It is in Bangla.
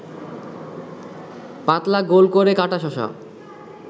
পাতলা গোল করে কাটা শশা